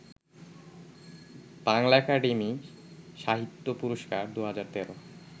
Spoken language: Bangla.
বাংলা একাডেমি সাহিত্য পুরস্কার ২০১৩